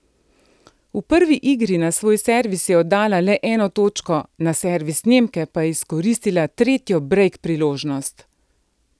V prvi igri na svoj servis je oddala le eno točko, na servis Nemke pa je izkoristila tretjo brejk priložnost.